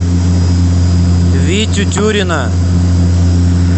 витю тюрина